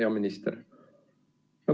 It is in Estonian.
Hea minister!